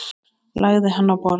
Lagði hann á borð.